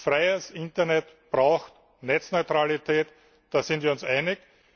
Ein freies Internet braucht Netzneutralität, da sind wir uns einig.